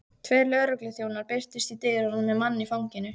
Tveir lögregluþjónar birtust í dyrunum með mann í fanginu.